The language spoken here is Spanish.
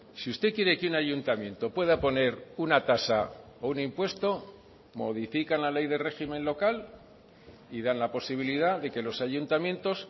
si usted quiere que un ayuntamiento pueda poner una tasa o un impuesto modifican la ley de régimen local y dan la posibilidad de que los ayuntamientos